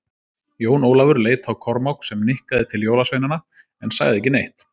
Jón Ólafur leit á Kormák, sem nikkaði til jólasveinana en sagði ekki neitt.